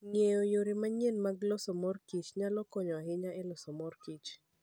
Ng'eyo yore manyien mag loso mor kich nyalo konyo ahinya e loso mor kich.